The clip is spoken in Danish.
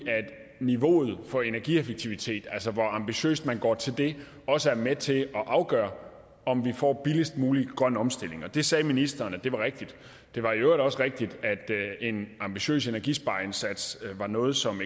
niveauet for energieffektivitet altså hvor ambitiøst man går til det også er med til at afgøre om vi får en billigst mulig grøn omstilling det sagde ministeren var rigtigt det var i øvrigt også rigtigt at en ambitiøs energispareindsats er noget som